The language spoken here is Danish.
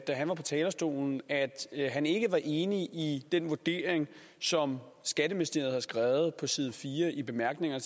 han var på talerstolen at han ikke var enig i den vurdering som skatteministeriet har skrevet på side fire i bemærkningerne